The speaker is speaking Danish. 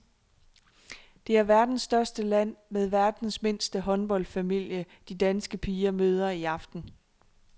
Det er verdens største land med verdens mindste håndboldfamilie, de danske piger møder i aften.